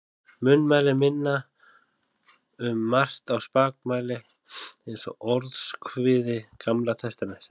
Munnmælin minna um margt á spakmæli eins og Orðskviði Gamla testamentisins.